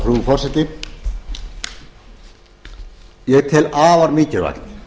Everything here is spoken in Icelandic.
frú forseti ég tel afar mikilvægt